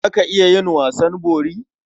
Za ka iya yin wasan bori?